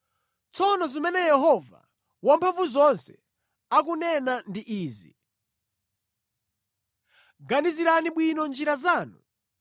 Tsono zimene Yehova Wamphamvuzonse akunena ndi izi, “Ganizirani bwino njira zanu.